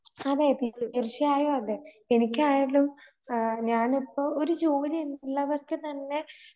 അതെയതെ തീർച്ചയായും അതെ. എനിക്കായതും ആ ഞാനിപ്പൊ ഒരു ജോലി ഉള്ളവർക്ക് തന്നെ